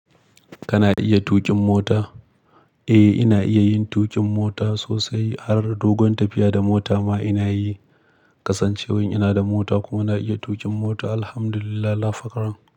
Kana iya tuƙin mota? Eh, ina iya yin tuƙin mota sosai. Har dogon tafiya da mota ma ina yi. Kasancewan ina da mota kuma na iya tuƙin mota, Alhamdulillah lafakaran.